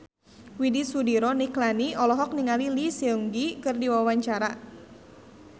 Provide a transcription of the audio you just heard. Widy Soediro Nichlany olohok ningali Lee Seung Gi keur diwawancara